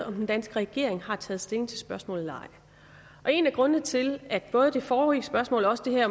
om den danske regering har taget stilling til spørgsmålet eller ej en af grundene til at både det forrige spørgsmål og også det her